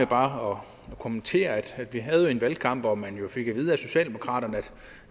bare at kommentere at vi havde en valgkamp hvor man jo fik at vide af socialdemokraterne at